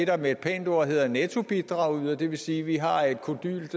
der med et pænt ord hedder nettobidragyder det vil sige at vi har et kodylt